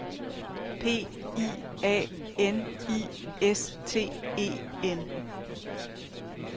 P I A N I S T E N